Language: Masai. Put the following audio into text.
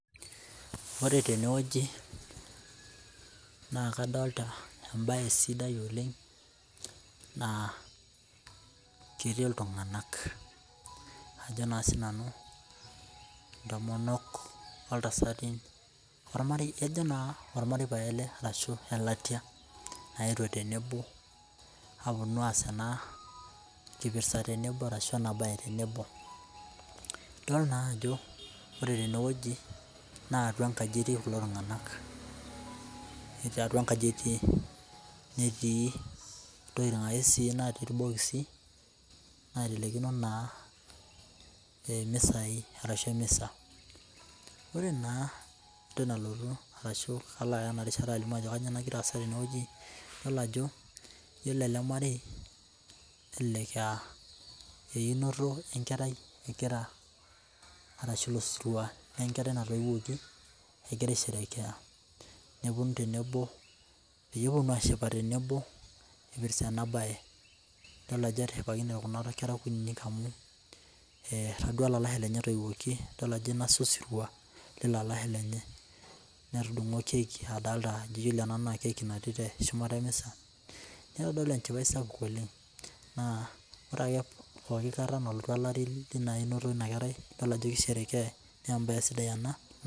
Ore tenewueji na kadolta embae sidai oleng na ketii ltunganak ajo na sinanu intomonok ontasati ajo na ormareiobo le ashu elatia naewuo tenebo aponu aas enakipirta tenebo ashu enabae tenebo idol naa ajo ore tenewueji na atua enkaji etii kulo tunganak etii atua enkani netii ntokitin natii irbikisi naitelekino emisa ore naa entoki nalotu ashu kalo aya enarishata ajo kanyio nagira aasa tene ifol ajo ore ele marei nelek aa einoto enkerai egirai asshu osiria lenkerai natoiwuoki egira aisherekea neponu tenebo peponu ashipa tenebo ipirta enabae etaduo olalashe lenye etoiwuoki idol ajo inosa osirua ilo alasje lenye netudungo keki amu adolta etii shumata emisa nitadolu enchipae sapuk oleng ore pooki kata nalotu einoto inakerai tolari na idol ajo kisherekeai na embae sidai ena.